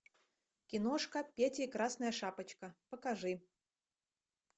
киношка петя и красная шапочка покажи